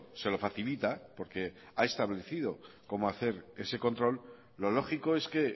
se lo facilita porque ha establecido cómo hacer ese control lo lógico es que